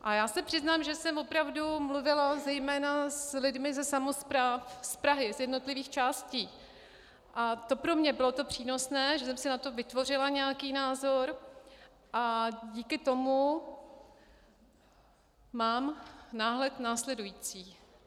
A já se přiznám, že jsem opravdu mluvila zejména s lidmi ze samospráv z Prahy, z jednotlivých částí, a to pro mě bylo přínosné, že jsem si na to vytvořila nějaký názor a díky tomu mám náhled následující.